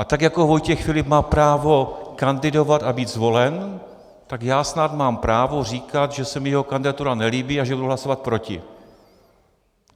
A tak jako Vojtěch Filip má právo kandidovat a být zvolen, tak já snad mám právo říkat, že se mi jeho kandidatura nelíbí a že budu hlasovat proti.